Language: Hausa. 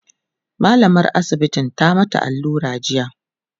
mallamar asibitin ta mata allura jiya